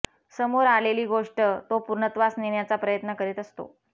समोर आलेली गोष्ट तो पूर्णत्वास नेण्याचा प्रयत्न करीत असतो